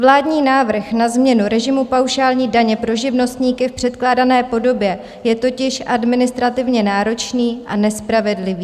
Vládní návrh na změnu režimu paušální daně pro živnostníky v předkládané podobě je totiž administrativně náročný a nespravedlivý.